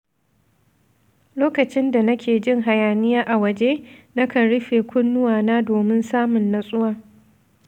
Lokacin da nake jin hayaniya a waje, na kan rufe kunnuwana domin samun natsuwa.